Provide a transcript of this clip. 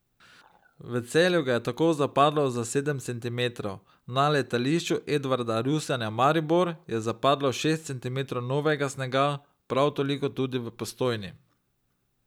V Celju ga je tako zapadlo za sedem centimetrov, na Letališču Edvarda Rusjana Maribor je zapadlo šest centimetrov novega snega, prav toliko tudi v Postojni.